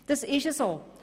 Dem ist so.